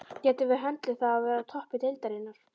Getum við höndlað það að vera á toppi deildarinnar?